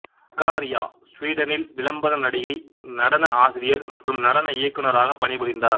சகாரியா சுவீடனில் விளம்பர நடிகை நடன ஆசிரியர் மற்றும் நடன இயக்குநராக பணிபுரிந்தார்